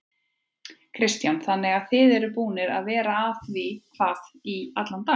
Kristján: Þannig að þið eruð búnir að vera að því hvað í allan dag?